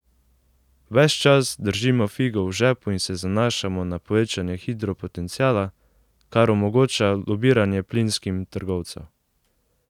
Ves čas držimo figo v žepu in se zanašamo na povečanje hidropotenciala, kar omogoča lobiranje plinskim trgovcev.